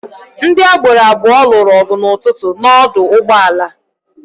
Ndị agboro abụọ lụrụ ọgụ n'ụtụtụ n'ọdụ ụgbọala a.